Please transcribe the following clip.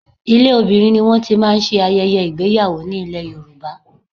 Ilé obìnrin ni wọ́n ti máa ń ṣe ayẹyẹ ìgbéyàwó ní ilè Yorùbá.